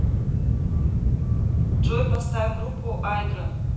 джой поставь группу айдран